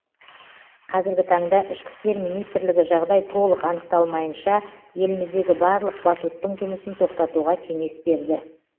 қазіргі таңда ішкі істер министрлігі жағдай толық анықталмайынша еліміздегі барлық батуттың жұмысын тоқтатуға кеңес берді